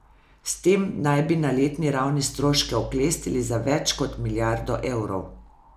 S tem naj bi na letni ravni stroške oklestili za več kot milijardo evrov.